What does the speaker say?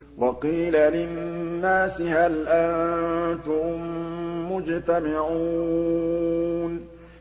وَقِيلَ لِلنَّاسِ هَلْ أَنتُم مُّجْتَمِعُونَ